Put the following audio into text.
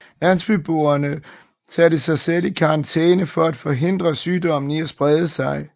Landsbyboerne satte sig selv i karantæne for at forhindre sygdommen i at sprede sig